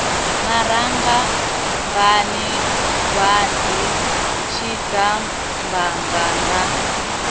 maranga bvani gwaḓi tshidzamanga na